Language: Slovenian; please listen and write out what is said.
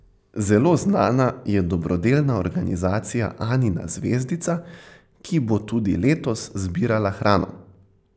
Zelo znana je dobrodelna organizacija Anina zvezdica, ki bo tudi letos zbirala hrano.